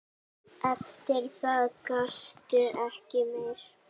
Eftir það gastu ekki meir.